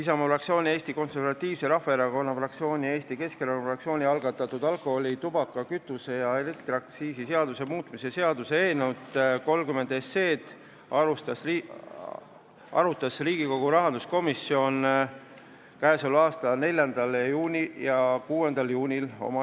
Isamaa fraktsiooni, Eesti Konservatiivse Rahvaerakonna fraktsiooni ja Eesti Keskerakonna fraktsiooni algatatud alkoholi-, tubaka-, kütuse- ja elektriaktsiisi seaduse muutmise seaduse eelnõu arutas Riigikogu rahanduskomisjon k.a 4. juunil ja 6. juunil.